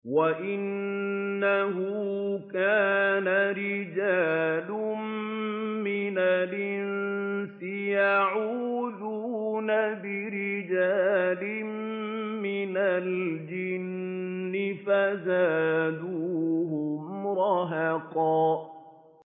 وَأَنَّهُ كَانَ رِجَالٌ مِّنَ الْإِنسِ يَعُوذُونَ بِرِجَالٍ مِّنَ الْجِنِّ فَزَادُوهُمْ رَهَقًا